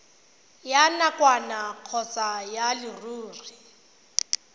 ya nakwana kgotsa ya leruri